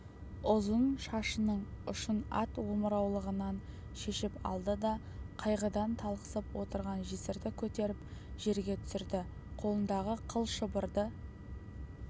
ұзын шашының ұшын ат омыраулығынан шешіп алды да қайғыдан талықсып отырған жесірді көтеріп жерге түсірді қолындағы қыл шылбырды